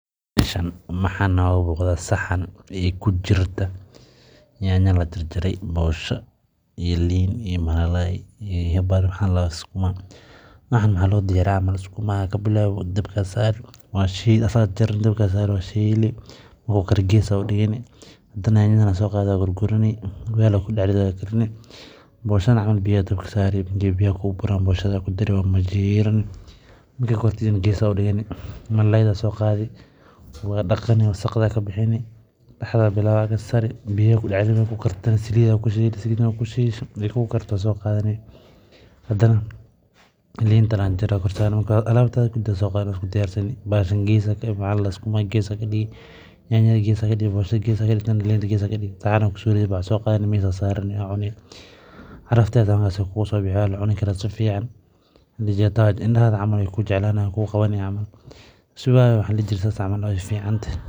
Meeshan waxaa nooga muuqda saxan aay kujirta nyanya lajarjaray, boosha iyo liin iyo malalaay iyo sukuma, waxaan waxaa loo diyaariya sukumaga ayaa kabilaawi dabka ayaa saari waa shiili wuu kare gees ayaa udigani, hadana nyanyada ayaa soo qaadi waa gurani weel ayaa kudax ridi waad karini, boshana biya ayaa dabka saari biyaha ayaa kuu burayaan boshada ayaa kudari waad majiiri, markaay karto ayadana gees ayaa udigani, malalaayda ayaa soo qaadi waa daqani wasqda kabixini biya ayaa kudax ridi markaay kartana saliid ayaa kushubi, saliida markaad kushiisho aay kuu karto waad soo qaadani, hadana liinta ayaa jarjari waad korsaari, marka alaabtada dan waa soo qaadi waa isku diyaarsani sukuma gees ayaa digi, nyanya gees ayaa digi, boshada gees ayaa digi, saxan ayaa kuridi waad soo qaadani miis ayaa keeni aa cuni, carafteedana waay kugu soo bixi waa lacuni karaa sifican, indaha waay kuu qabani.